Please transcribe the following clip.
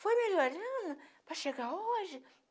Foi melhorando para chegar hoje?